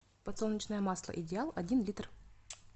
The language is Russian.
подсолнечное масло идеал один литр